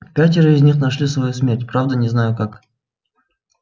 пятеро из них нашли свою смерть правда не знаю как